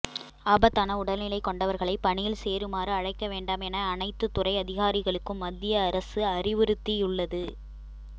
ஆபத்தான உடல்நிலை கொண்டவர்களைப் பணியில் சேருமாறு அழைக்க வேண்டாம் என அனைத்துத் துறை அதிகாரிகளுக்கும் மத்திய அரசு அறிவுறுத்தியுள்ளது